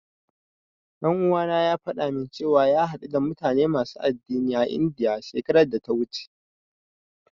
Ɗan uwana ya faɗa min cewa ya haɗu da mutane masu addinai a Indiya, shekarar data wuce.